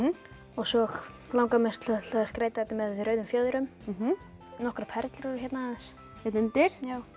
svo langar mig að skreyta þetta með rauðum fjöðrum nokkrar perlur hérna aðeins hérna undir